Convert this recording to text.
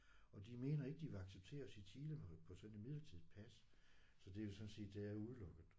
Og de mener ikke de vil acceptere os i Chile på på sådan et midlertidigt pas så det er jo sådan set det er udelukket